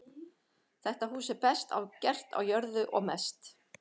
Það hús er best gert á jörðu og mest.